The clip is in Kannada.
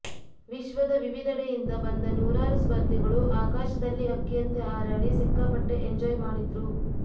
ವಿಶ್ವದ ವಿವಿಧೆಡೆಯಿಂದ ಬಂದ ನೂರಾರು ಸ್ಪರ್ಧಿಗಳು ಆಕಾಶದಲ್ಲಿ ಹಕ್ಕಿಯಂತೆ ಹಾರಾಡಿ ಸಿಕ್ಕಾಪಟ್ಟೆ ಎಂಜಾಯ್ ಮಾಡಿದ್ರು